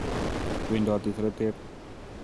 Wendote seretet.